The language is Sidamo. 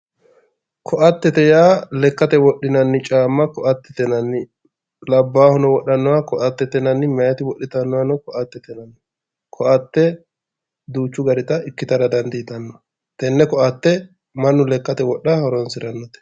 ko"attete yaa lekkate wodhinanni caamma ko"attete yinanni labbahuno wodhannoha ko"attete yinanni mayiiti wodhitannotano ko"attete yinanni ko"atte duuchu daniti ikitara dandiitanno ko"atte mannu lekkate wodhate horonsirannote